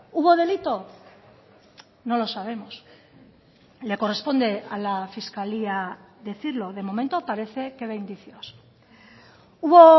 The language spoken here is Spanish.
hubo delito no lo sabemos le corresponde a la fiscalía decirlo de momento parece que ve indicios hubo